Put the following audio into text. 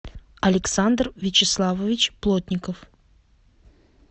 александр вячеславович плотников